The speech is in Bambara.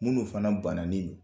Munnu fana bananen don